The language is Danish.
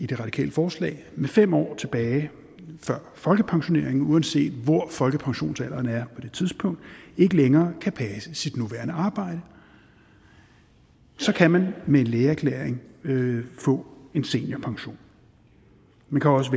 det radikale forslag med fem år tilbage før folkepensionering uanset hvor folkepensionsalderen er på det tidspunkt ikke længere kan passe sit nuværende arbejde så kan man med en lægeerklæring få en seniorpension man kan også